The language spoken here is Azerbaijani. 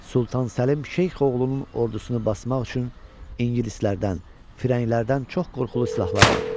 Sultan Səlim Şeyx oğlunun ordusunu basmaq üçün ingilislərdən, firənglərdən çox qorxulu silahlar alıb.